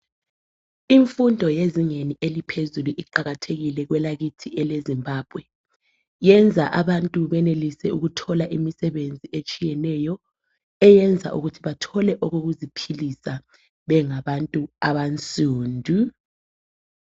Imfundo yezingeni eliphezulu iqakathekile kwelakithi elezimbabwe. Yenza abantu benelise ukuthola imisebenzi etshiyeneyo eyenza ukuthi bathole okokuziphilisa bengabantu abansundu.